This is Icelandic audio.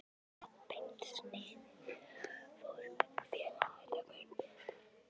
Þráðbeint sniðið fór félaga hennar mun betur.